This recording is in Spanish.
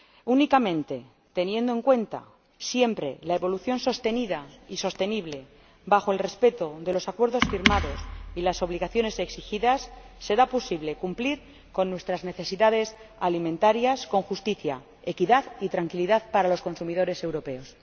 Únicamente teniendo en cuenta siempre la evolución sostenida y sostenible, en el respeto de los acuerdos firmados y las obligaciones exigidas, será posible satisfacer nuestras necesidades alimentarias con justicia, equidad y tranquilidad para los consumidores europeos.